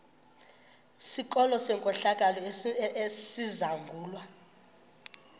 sikolo senkohlakalo esizangulwa